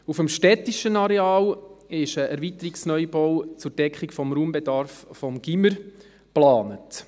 Auf dem städtischen Areal ist der Erweiterungsneubau zur Deckung des Raumbedarfs vom Gymnasium geplant.